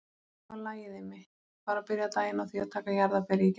Það var lagið Immi, bara byrja daginn á því að taka jarðarberið í gegn.